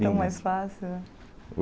Lindo Tão mais fácil.